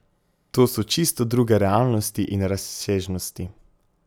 To so čisto druge realnosti in razsežnosti.